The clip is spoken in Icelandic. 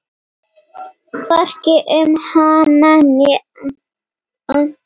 Hvorki um hana né Anton.